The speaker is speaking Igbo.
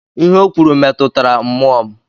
Ihe ọ kwuru metụtara mmụọ m.